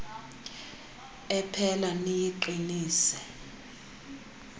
ephela niyiqi nise